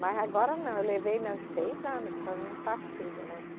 Mas agora não, eu levei né uns seis anos só no faz-tudo, né?